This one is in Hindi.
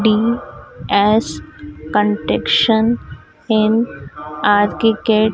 डी_एस कॉन्ट्रैक्शन इन आर्किकेट --